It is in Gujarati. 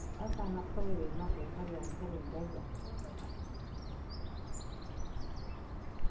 અચાનક ખબર એ નોતી ફરી આમ કરી ને ભાગ્યા